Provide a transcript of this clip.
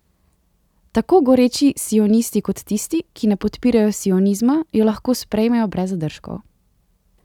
Tako goreči sionisti kot tisti, ki ne podpirajo sionizma, jo lahko sprejmejo brez zadržkov.